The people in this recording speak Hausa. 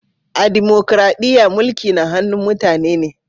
A dimukraɗiya, mulki na hannun mutane ne.